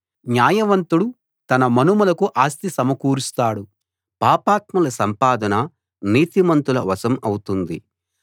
న్యాయవంతుడు తన మనుమలకు ఆస్తి సమకూరుస్తాడు పాపాత్ముల సంపాదన నీతిమంతుల వశం అవుతుంది